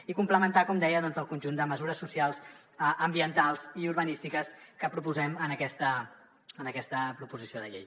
i complementar ho com deia amb el conjunt de mesures socials ambientals i urbanístiques que proposem en aquesta proposició de llei